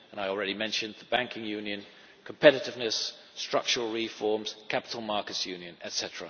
take. I have already mentioned the banking union, competitiveness, structural reforms and the Capital Markets Union,